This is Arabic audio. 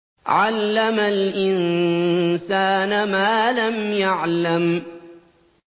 عَلَّمَ الْإِنسَانَ مَا لَمْ يَعْلَمْ